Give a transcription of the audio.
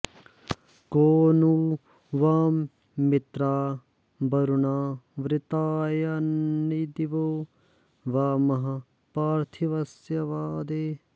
को नु वां मित्रावरुणावृतायन्दिवो वा महः पार्थिवस्य वा दे